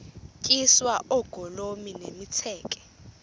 tyiswa oogolomi nemitseke